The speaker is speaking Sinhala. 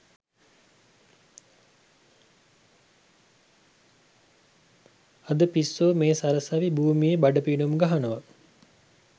අද පිස්සෝ මේ සරසවි භූමියේ බඩ පිනුම් ගහනවා